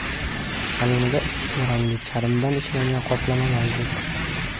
Salonida ikki xil rangli charmdan ishlangan qoplama mavjud.